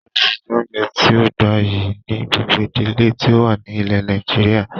Ìrẹsì jẹ́ oúnjẹ tíì ó gbayyi ni gbogbo ìdílé tí ó wà ní ilẹ́ Nàìjíríà